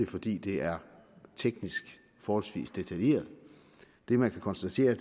fordi det er teknisk forholdsvis detaljeret det man kan konstatere